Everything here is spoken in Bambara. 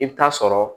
I bɛ taa sɔrɔ